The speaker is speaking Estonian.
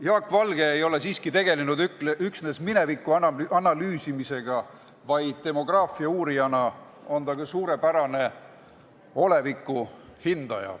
Jaak Valge ei ole siiski tegelenud üksnes mineviku analüüsimisega, vaid demograafia uurijana on ta ka suurepärane oleviku hindaja.